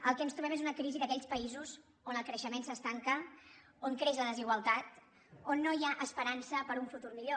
el que ens trobem és una crisi d’aquells països on el creixement s’estanca on creix la desigualtat on no hi ha esperança per a un futur millor